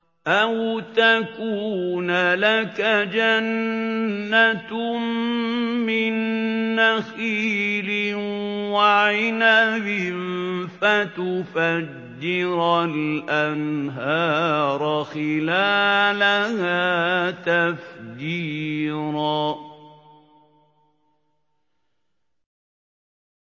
أَوْ تَكُونَ لَكَ جَنَّةٌ مِّن نَّخِيلٍ وَعِنَبٍ فَتُفَجِّرَ الْأَنْهَارَ خِلَالَهَا تَفْجِيرًا